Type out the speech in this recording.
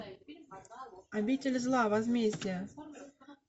обитель зла возмездие